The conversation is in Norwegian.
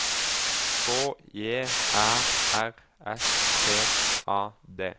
K J Æ R S T A D